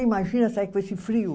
Imagina sair com esse frio?